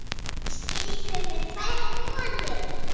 Skildirðu við tvær konur?